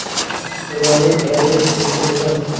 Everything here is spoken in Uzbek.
Ulardan ayrilish mumkin emas.